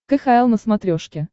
кхл на смотрешке